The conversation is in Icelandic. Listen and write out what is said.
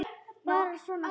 Bara svona fljót að öllu.